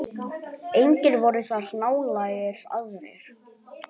Engir voru þar nálægir aðrir.